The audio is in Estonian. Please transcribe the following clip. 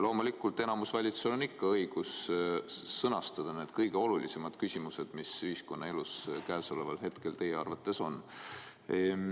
Loomulikult on enamusvalitsusel õigus sõnastada need kõige olulisemad küsimused, mis ühiskonnaelus käesoleval hetkel teie arvates on.